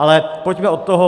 Ale pojďme od toho.